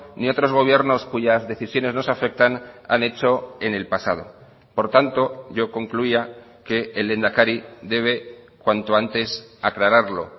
ni otros gobiernos cuyas decisiones nos afectan han hecho en el pasado por tanto yo concluía que el lehendakari debe cuanto antes aclararlo